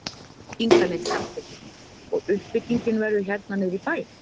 Inga Lind Karlsdóttir: Og uppbyggingin verður hérna niðri í bæ?